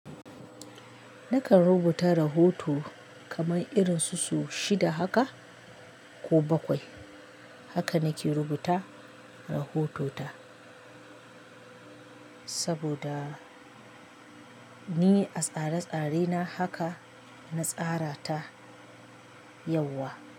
Nakan rubuta rahoto kamar irin su so shida haka ko bakwai. Haka nake rubuta rahotota saboda ni a tsare-tsarena haka na tsara ta yauwa.